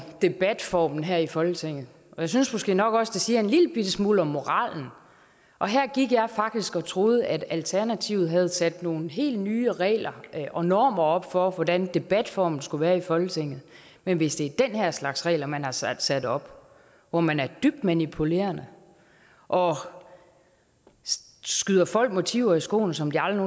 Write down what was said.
debatformen her i folketinget og jeg synes måske nok også at det siger en lillebitte smule om moralen her gik jeg faktisk og troede at alternativet havde sat nogle helt nye regler og normer op for hvordan debatformen skal være i folketinget men hvis det er den her slags regler man har sat sat op hvor man er dybt manipulerende og skyder folk motiver i skoene som de aldrig